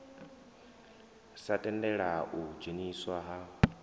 sa tendela u dzheniswa ha